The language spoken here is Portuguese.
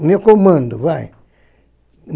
O meu comando, vai.